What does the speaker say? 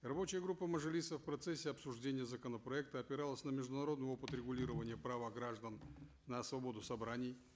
рабочая группа мажилиса в процессе обсуждения законопроекта опиралась на международный опыт регулирования права граждан на свободу собраний